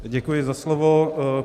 Děkuji za slovo.